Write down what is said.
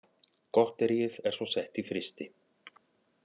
Gotteríið er svo sett í frysti